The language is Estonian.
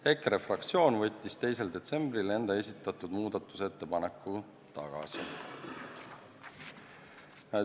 EKRE fraktsioon võttis 2. detsembril enda esitatud muudatusettepaneku tagasi.